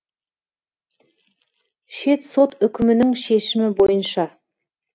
шет сот үкімінің шешімі бойынша